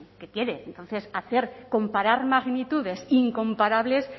qué quiere entonces hacer comparar magnitudes incomparables